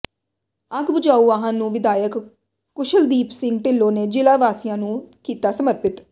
ਅੱਗ ਬੁਝਾਊ ਵਾਹਨ ਨੂੰ ਵਿਧਾਇਕ ਕੁਸ਼ਲਦੀਪ ਸਿੰਘ ਢਿੱਲੋਂ ਨੇ ਜ਼ਿਲ੍ਹਾ ਵਾਸੀਆਂ ਨੂੰ ਕੀਤਾ ਸਮਰਪਿਤ